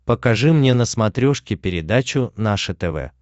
покажи мне на смотрешке передачу наше тв